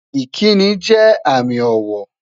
Ìkíni jẹ́ àmì ọ̀wọ̀